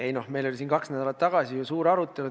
Ei, noh, meil oli siin kaks nädalat tagasi ju suur arutelu.